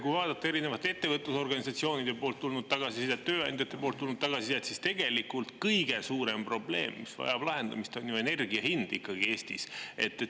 Kui vaadata erinevate ettevõtlusorganisatsioonide poolt tulnud tagasisidet, tööandjate poolt tulnud tagasisidet, siis tegelikult kõige suurem probleem, mis vajab lahendamist, on ju energia hind Eestis.